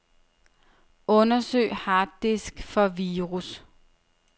Undersøg harddisk for virus.